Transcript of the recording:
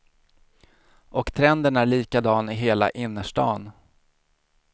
Och trenden är likadan i hela innerstan.